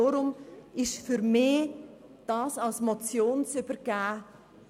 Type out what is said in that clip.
Deshalb ist es für mich etwas gewagt, dieses Anliegen als Motion zu übergeben.